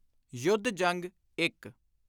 ਯੁੱਧ-ਜੰਗ-1